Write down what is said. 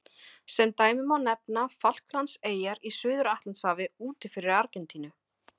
Sem dæmi má nefna Falklandseyjar í Suður-Atlantshafi úti fyrir Argentínu.